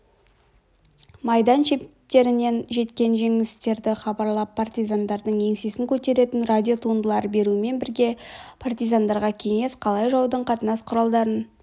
майдан шептерінен жеткен жеңістерді хабарлап партизандардың еңсесін көтеретін радиотуындылар берумен бірге партизандарға кеңес қалай жаудың қатынас құралдарын